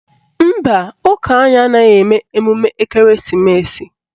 Mba, ụka anyị anaghị eme emume ekereesimesi